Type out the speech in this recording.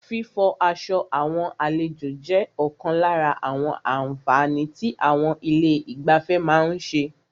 Fífọ aṣọ àwọn àlejò jẹ́ ọ̀kan lára àwọn àǹfààní tí àwọn ilé ìgbafẹ́ má ń ṣe.